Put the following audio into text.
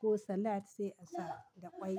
ko salad sai a sa da ƙwai.